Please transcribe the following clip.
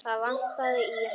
Það vantaði í hann.